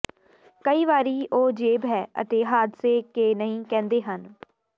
ਕਈ ਵਾਰੀ ਉਹ ਜੇਬ ਹੈ ਅਤੇ ਹਾਦਸੇ ਕੇ ਨਹੀ ਕਹਿੰਦੇ ਹਨ